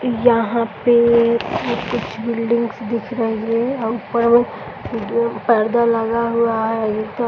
यहाँ पे कुछ बिल्डिंग दिख रही है और ऊपर वो पर्दा लगा हुआ है।